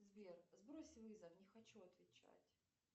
сбер сбрось вызов не хочу отвечать